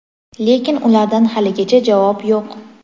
Lekin ulardan haligacha javob yo‘q.